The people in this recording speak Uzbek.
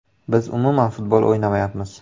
Biz umuman futbol o‘ynamayapmiz.